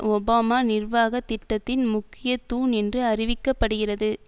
Obama நிர்வாக திட்டத்தின் முக்கிய தூண் என்று அறிவிக்க படுகிறது